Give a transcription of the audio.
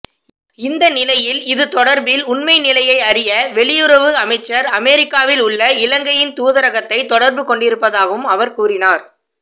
இந்தநிலையில் இது தொடர்பில் உண்மை நிலையை அறிய வெளியுறவு அமைச்சு அமரிக்காவில் உள்ள இலங்கையின் தூதரகத்தை தொடர்புகொண்டிருப்பதாகவும அவர் கூறினார்